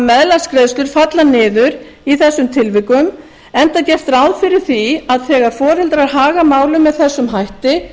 meðlagsgreiðslur falla niður í þessum tilvikum enda gert ráð fyrir því að þegar foreldrar haga málum með þessum hætti